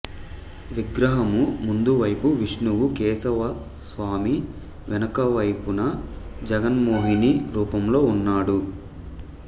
విగ్రహము ముందువైపు విష్ణువు కేశవస్వామి వెనుకవైపున జగన్మోహినీ రూపంలో ఉన్నాడు